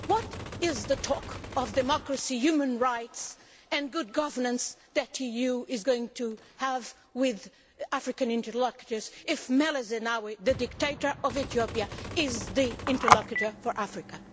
What good is the talk of democracy, human rights and good governance, which the EU is going to have with African interlocutors, if Meles Zenawi, the dictator of Ethiopia, is the interlocutor for Africa?